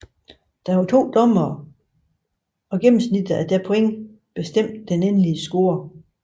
Der var to dommere og gennemsnittet af deres point bestemte den endelige score